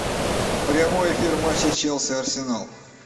прямой эфир матча челси арсенал